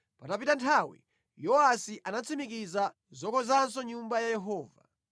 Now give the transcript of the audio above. Patapita nthawi Yowasi anatsimikiza zokonzanso Nyumba ya Yehova.